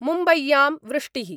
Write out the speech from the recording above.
मुम्बय्यां वृष्टिः